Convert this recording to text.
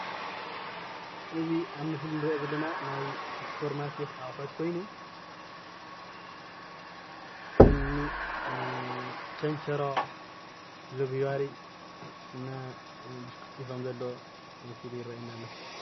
እዚ ኣብ ምስሊ እንሪኦ ዘለና ናይ ስፖር ማርኬት ኣቁሑት ኮይኑ ከም እኒ ቸንቸሮ፣ ሎግያሪ እና ብሽኩቲ ከም ዘለዎ መሲሉ የርእየና አሎ፡፡